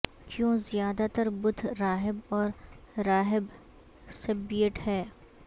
کیوں زیادہ تر بدھ راہب اور راہب سیببیٹ ہیں